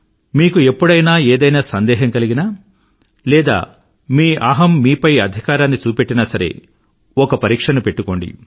మీకు ఎప్పుడైనా ఏదైనా సందేహం కలిగినా లేదా మీ అహం మీపై అధికారాన్ని చూపెట్టినా సరే ఒక పరీక్షను పెట్టుకోండి